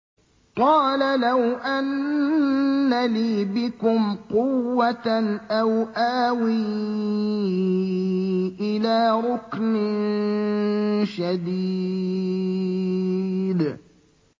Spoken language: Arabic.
قَالَ لَوْ أَنَّ لِي بِكُمْ قُوَّةً أَوْ آوِي إِلَىٰ رُكْنٍ شَدِيدٍ